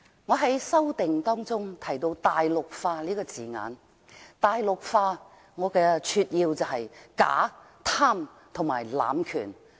我在修正案中提到"大陸化"這個字眼，我把"大陸化"定義為假、貪和濫權。